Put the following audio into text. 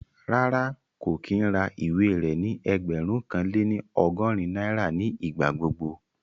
Rárá, kò kí ń ra ìwé rẹ ní ẹgbẹ̀rún kan lé ní ọgọ́rin náírà ní ìgbà gbogbo